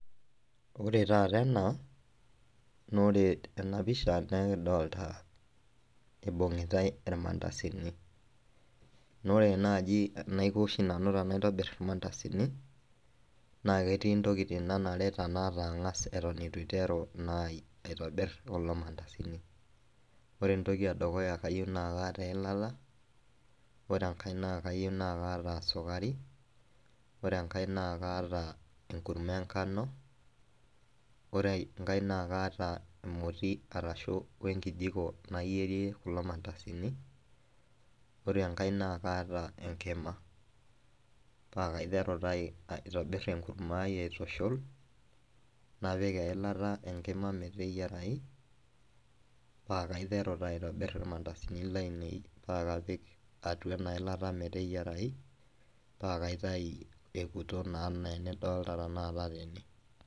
Ore taata ena na ore enapisha na ekidolta ibungitae irmandasini, na ore nai enaiko oshi tanaitobir irmandasini na ketii ntokitin nanareta aas atan itu aiteru aitobir kulo mandasini, ore entoki edukuya nakayieu naata eilata, ore enkai nakayieu nakaata sukari, ore enkae nakaata enkurma enkano, ore enkae na kaata emoti wenkijiko nayierie kulo mandasini, ore enkae na kaata enkima, pakaiteru taa aitobir ebkurma aai aitushul napik eilata enkima meteyierai pakaiteru aitushul irmandasini meteyierai napik atua enailata meteryierai naitau etiu enidolta tanakata tene.